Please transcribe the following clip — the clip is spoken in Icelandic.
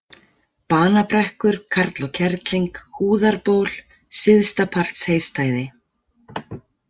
Banabrekkur, Karl og Kerling, Húðarból, Syðstapartsheystæði